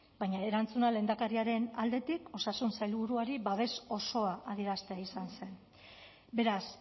baina erantzuna lehendakariaren aldetik osasun sailburuari babes osoa adieraztea izan zen beraz